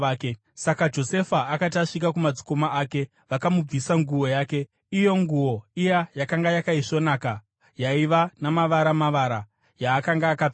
Saka Josefa akati asvika kumadzikoma ake, vakamubvisa nguo yake, iyo nguo iya yakanga yakaisvonaka, yaiva nemavara-mavara yaakanga akapfeka,